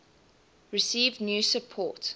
received new support